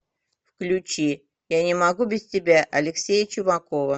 включи я не могу без тебя алексея чумакова